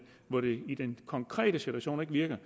hvor det i den konkrete situation ikke virker